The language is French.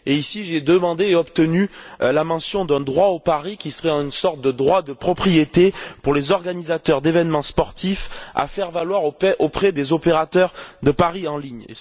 Ici, j'ai demandé et obtenu la mention d'un droit au pari qui serait une sorte de droit de propriété pour les organisateurs d'événements sportifs, à faire valoir auprès des opérateurs de paris en ligne.